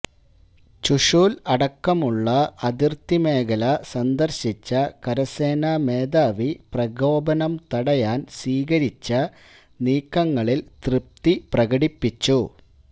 ചുഷൂൽ അടക്കമുള്ള അതിർത്തി മേഖല സന്ദർശിച്ച കരസേനാമേധാവി പ്രകോപനം തടയാൻ സ്വീകരിച്ച നീക്കങ്ങളിൽ ത്യപ്തി പ്രകടിപ്പിച്ചു